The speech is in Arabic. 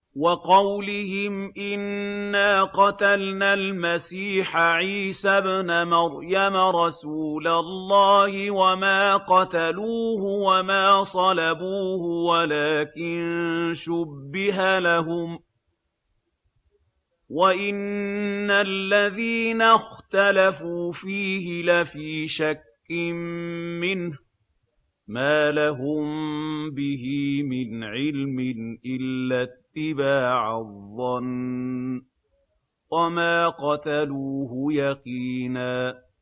وَقَوْلِهِمْ إِنَّا قَتَلْنَا الْمَسِيحَ عِيسَى ابْنَ مَرْيَمَ رَسُولَ اللَّهِ وَمَا قَتَلُوهُ وَمَا صَلَبُوهُ وَلَٰكِن شُبِّهَ لَهُمْ ۚ وَإِنَّ الَّذِينَ اخْتَلَفُوا فِيهِ لَفِي شَكٍّ مِّنْهُ ۚ مَا لَهُم بِهِ مِنْ عِلْمٍ إِلَّا اتِّبَاعَ الظَّنِّ ۚ وَمَا قَتَلُوهُ يَقِينًا